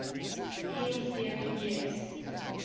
field theory gives